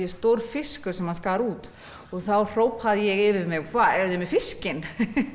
stór fiskur sem hann skar út þá hrópaði ég yfir mig eruð þið með fiskinn